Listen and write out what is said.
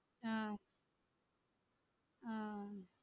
ஆஹ் ஆஹ்